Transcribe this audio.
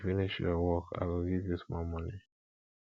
if you finish your work i go give you small moni